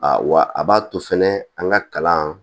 A wa a b'a to fɛnɛ an ka kalan